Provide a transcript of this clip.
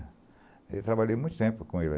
Eu trabalhei muito tempo com ele.